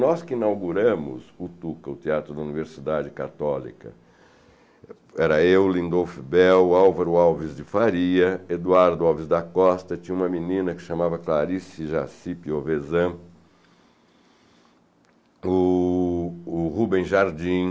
Nós que inauguramos o Tuca, o Teatro da Universidade Católica, era eu, Lindolfo Bell, Álvaro Alves de Faria, Eduardo Alves da Costa, tinha uma menina que chamava Clarice Jacipe Ovesan, o... o Rubem Jardim,